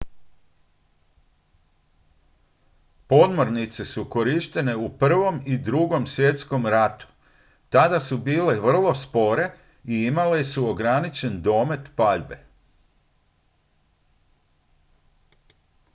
podmornice su korištene u i i ii svjetskom ratu tada su bile vrlo spore i imale su ograničen domet paljbe